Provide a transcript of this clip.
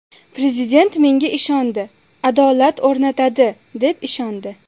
Prezident menga ishondi, adolat o‘rnatadi, deb ishondi.